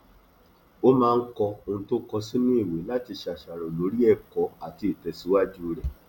ó máa ń kọ ohun tó ń kọ sínú ìwé láti ṣàṣàrò lórí ẹkọ àti ìtẹsíwájú rẹ